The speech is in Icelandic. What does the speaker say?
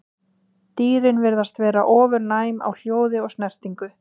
Dýrin virðast vera ofurnæm á hljóð og snertingu.